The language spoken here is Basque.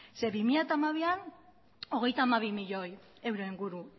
zeren bi mila hamabian hogeita hamabi milioi euro inguru